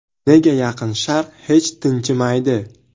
Nega Yaqin Sharq hech tinchimaydi?